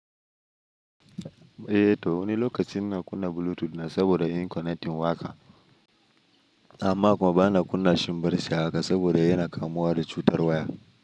Eh to wani lokacin na kunna Bluetooth na saboda in connecting waka, amma kuma bana kunna shin birshi haka saboda yana kamuwa da cutar waya.